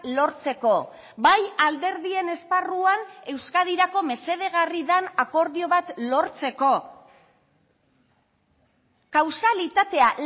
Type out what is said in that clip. lortzeko bai alderdien esparruan euskadirako mesedegarri den akordio bat lortzeko kausalitatea